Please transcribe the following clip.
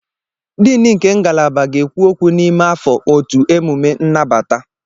Diini nke ngalaba ga-ekwu okwu n'ime afọ otu emume nnabata.